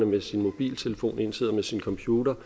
med sin mobiltelefon en sidder med sin computer